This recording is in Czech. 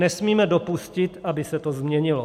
Nesmíme dopustit, aby se to změnilo.